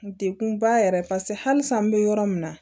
Dekunba yɛrɛ paseke hali san n be yɔrɔ min na